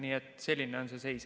Nii et selline on see seis.